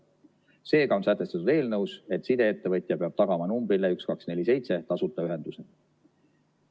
Seega on sätestatud eelnõus, et sideettevõtja peab tagama numbrile 1247 tasuta ühenduse.